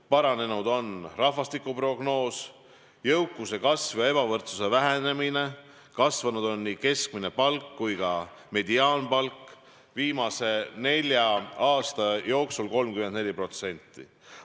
Paranenud on rahvastikuprognoos, jõukus on kasvanud, ebavõrdsus on vähenenud, kasvanud on nii keskmine palk kui ka mediaanpalk, viimase nelja aasta jooksul 34%.